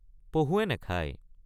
পহুৱে নাখায়।